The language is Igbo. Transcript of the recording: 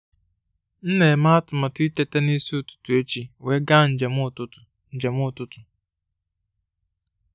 M na-eme atụmatụ iteta n'isi ụtụtụ echi wee gaa njem ụtụtụ. njem ụtụtụ.